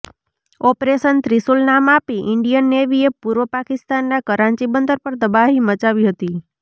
operation Trishul નામ આપી Indian નેવીએ પૂર્વ પાકિસ્તાનના કરાંચી બંદર પર તબાહી મચાવી હતી